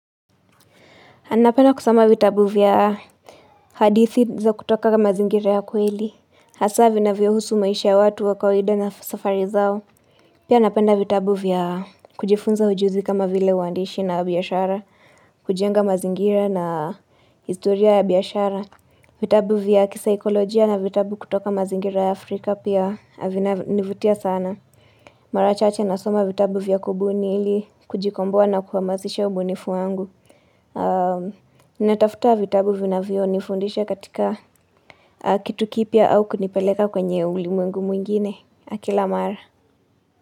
Anapenda kusoma vitabu vya hadithi za kutoka mazingira ya kweli. Hasa vinavyohusu maisha ya watu wa kawaida na safari zao. Pia napenda vitabu vya kujifunza ujuzi kama vile waandishi na biashara. Kujenga mazingira na historia ya biashara. Vitabu vya kisaikolojia na vitabu kutoka mazingira ya Afrika pia vinanivutia sana. Mara chache nasoma vitabu vya kubuni ili kujikomboa na kuhamazisha ubunifu angu. Natafuta vitabu vinavyonifundisha katika Kitu kipya au kunipeleka kwenye ulimwengu mwingine, kila mara.